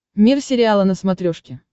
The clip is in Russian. мир сериала на смотрешке